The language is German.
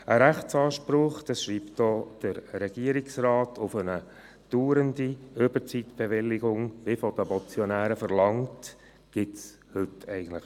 Ein Rechtsanspruch – das schreibt auch der Regierungsrat – auf eine dauernde Überzeitbewilligung, wie von den Motionären verlangt, gibt es schon heute.